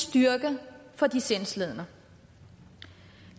styrke for de sindslidende